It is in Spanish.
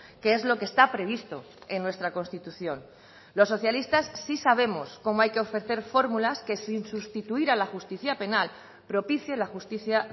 que es lo que está previsto en nuestra constitución los socialistas sí sabemos cómo hay que ofrecer fórmulas que sin sustituir a la justicia penal propicie la justicia